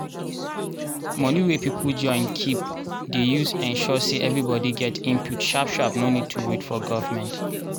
moni wey peole join keep dey ensure say everibodi get input sharp sharp no need to wait for government